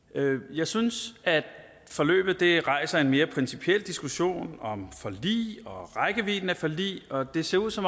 jeg synes at forløbet rejser en mere principiel diskussion om forlig og rækkevidden af forlig og det ser ud til